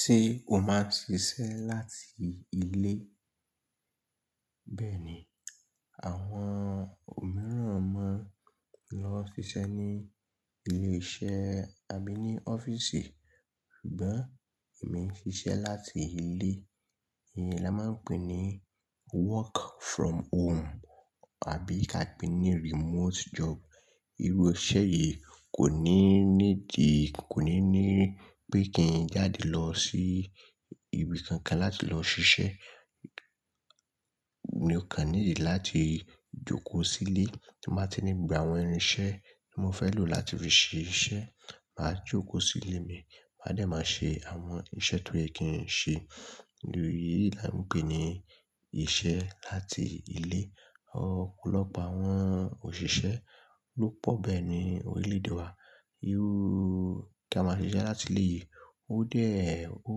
Ṣé o máa ń ṣiṣẹ́ láti ilé? Bẹ́ẹ̀ ni, àwọn òmíràn máa ń lọ ṣiṣẹ́ ní ilé-iṣẹ́ àbí ní ọ́fíìsì, ṣùgbọ́n èmi ń ṣiṣẹ́ láti ilé. Iyen ni a máa ń pè ní work from home àbí ka pè ní remote job. Irú iṣẹ́ yìí kò ní need, kò ní ní pé kí n jáde lọ sí ibi kankan láti lọ ṣiṣẹ́. Mo kàn need láti jókòó sílé tí máa ti ní gbogbo àwọn irinṣẹ́ tí mo fẹ́ lò láti fi ṣe iṣẹ́. Màá jókòó sí ilé mi, màá dẹ̀ máa ṣe àwọn iṣẹ́ tó yẹ kí n ṣe. Èyí ni a ń pè ní iṣẹ́ láti ilé. Ọ̀pọ̀lọpọ̀ àwọn òṣìṣẹ́ ló pọ̀ bẹ́ẹ̀ ní orílẹ̀-èdè wa. Irú kí a máa ṣiṣẹ́ láti ilé yìí, ó dẹ̀, ó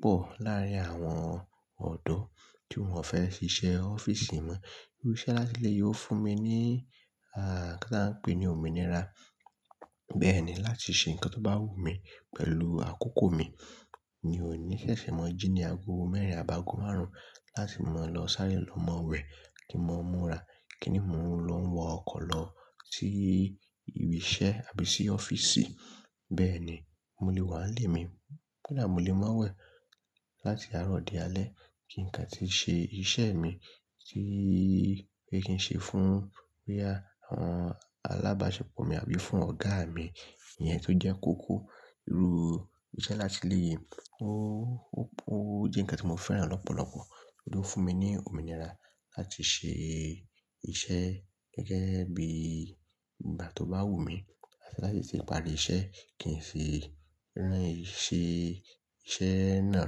pọ̀ láàrín àwọn ọ̀dọ́ tí wọ́n ò fẹ́ ṣiṣẹ́ ọ́fíìsì mọ́. Irú iṣẹ́ láti ilé yìí ó fún mi ní, ah, kí la n pè é ní òmìnira. Bẹ́ẹ̀ ni, láti ṣe nǹkan tó bá wù mí pẹ̀lú àkókò mi. Mi ò ní ṣẹ̀ṣẹ̀ mọ̀ jí ní ago mẹ́rin àbi ágo márùn-ún láti máa lọ sáré lọ ma wẹ̀ kí n máa múra, kí ni mò ń lọ ń wọ ọkọ̀ lọ sí ibi iṣẹ́ àbí sí ọ́fíìsì. Bẹ́ẹ̀ ni, mo lè wà nílé mi, koda mọ́ lè má wẹ̀ láti àárọ̀ di alẹ́ kí nka ti ṣe iṣẹ́ mi tí pé kí n ṣe fún, boya, àwọn alábáṣepọ̀ mi àbí fún ọ̀gá mi, iyẹn tó jẹ́ kókó. Irú iṣẹ́ láti ilé yìí ó, ó jẹ́ ǹkan tí mo fẹ́ràn lọ́pọ̀lọpọ̀. Ó fún mi ní òmìnira láti ṣe iṣẹ́ gẹ́gẹ́ bí ìgbà tó bá wù mí àti láti sì parí iṣẹ́ kí sì rán iṣẹ́ náà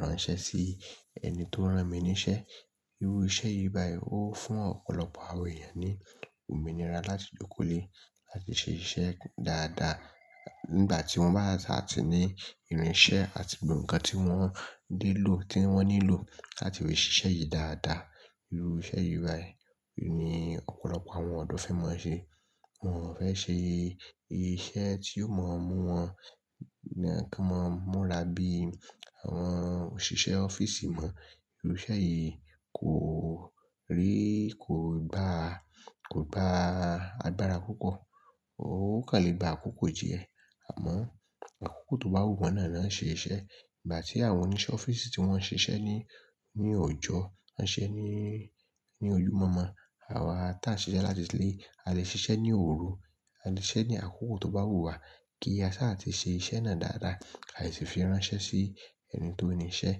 ránṣẹ́ sí ẹni tó rán mi níṣẹ́. Irú iṣẹ́ yìí báyìí ó fún ọ̀pọ̀lọpọ̀ àwọn èèyàn ní òmìnira láti jókòó lé láti ṣe iṣẹ́ dáadáa nígbà tí wọ́n bá sà ti ní irinṣẹ́ àti gbogbo ǹkan tí wọ́n nilò, tí wọ́n nílò láti fi ṣe iṣẹ́ yìí dáadáa. Irú iṣẹ́ yìí báyìí ni ọ̀pọ̀lọpọ̀ àwọn ọ̀dọ́ fẹ́ máa ṣe. Wọn ò fẹ́ ṣe iṣẹ́ tí yóò máa mú wọn ní, kí wọ́n máa múra bí àwọn òṣìṣẹ́ ọ́fíìsì mọ̀. Irú iṣẹ́ yìí kò rí, kò gba, kò gba agbára púpọ̀. Ó kàn lè gba àkókò díẹ̀, àmọ́ àkókò tó bá wù wọ́n náà la lọ ṣe iṣẹ́. Ìgbà tí àwọn oníṣẹ́ ọ́fíìsì tí wọ́n ṣe iṣẹ́ ní, ní ọjọ́, wọ́n ṣe é ní, ní olùmọ̀mo, àwa tí a ṣe iṣẹ́ láti ilé, a lè ṣe iṣẹ́ ní òru, a lè ṣise ní àkókò tó bá wù wà kí a sà ti ṣe iṣẹ́ náà dáadáa kí a sì fi ránṣẹ́ sí ẹni tó ni iṣẹ́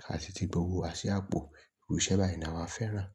kí a sì ti gbó wa sí àpò. Irú iṣẹ́ báyìí ni àwa fẹ́ràn.